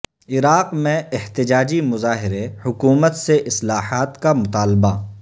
عراق میں احتجاجی مظاہرے حکومت سے اصلاحات کا مطالبہ